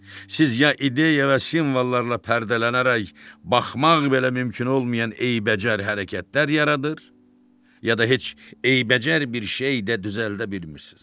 Siz ya ideya və simvollarla pərdələnərək baxmaq belə mümkün olmayan eybəcər hərəkətlər yaradır, ya da heç eybəcər bir şey də düzəldə bilmirsiz.